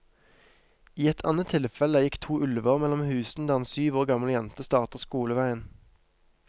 I et annet tilfelle gikk to ulver mellom husene der en syv år gammel jente starter skoleveien.